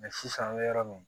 sisan an bɛ yɔrɔ min na